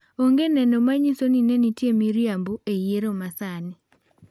Onge neno manyiso ni ne nitie miriambo e yiero masani.